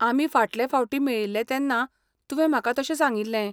आमी फाटले फावटी मेळिल्ले तेन्ना तुवें म्हाका तशें सांगिल्लें.